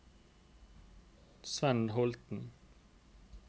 Svend Holten